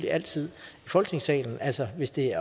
altid i folketingssalen altså hvis det